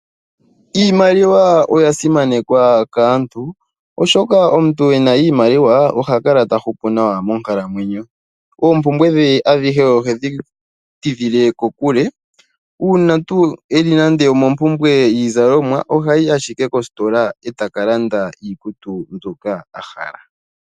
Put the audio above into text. Iimaliwa oya simanekwa kaantu oshoka omuntu ena iimaliwa oha kala ta hupu nawa monkalamwenyo, oompumbwe dhe adhihe ohedhi tidhile kokule, uuna tuu eli nande omo mpumbwe yiizalomwa, ohayi ashike koositola eta ka landa iikutu mbyoka ahala.